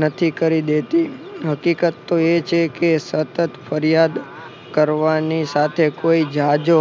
નથી કરી દેતી હકીકત તો એ છે કે સતત ફરિયાદ કરવાની સાથે કોઈ જાજો